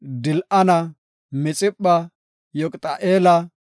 Dil7ana, Mixipha, Yoqiti7eela,